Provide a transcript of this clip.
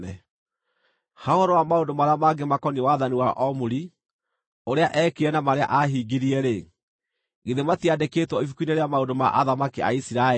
Ha ũhoro wa maũndũ marĩa mangĩ makoniĩ wathani wa Omuri, ũrĩa eekire na marĩa ahingirie-rĩ, githĩ matiandĩkĩtwo ibuku-inĩ rĩa maũndũ ma athamaki a Isiraeli?